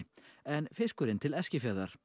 en fiskurinn til Eskifjarðar